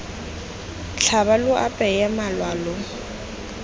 tlhaba lo apeye malwa lo